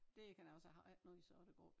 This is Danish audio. Det kan jeg også og jeg har ikke noget i sort og grå